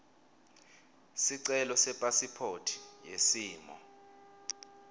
sicelo sepasiphothi yesimo